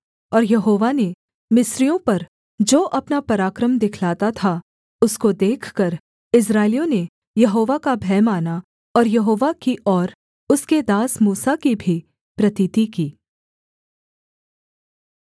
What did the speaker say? और यहोवा ने मिस्रियों पर जो अपना पराक्रम दिखलाता था उसको देखकर इस्राएलियों ने यहोवा का भय माना और यहोवा की और उसके दास मूसा की भी प्रतीति की